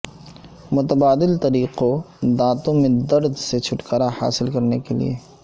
متبادل طریقوں دانت میں درد سے چھٹکارا حاصل کرنے کے لئے